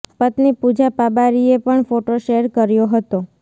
પત્નિ પૂજા પાબારીએ પણ photo share કર્યો હતો